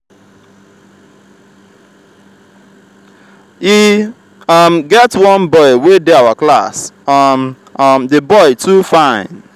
e um get one boy wey dey our class um um the boy too fine.